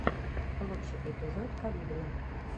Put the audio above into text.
лучший эпизод колибри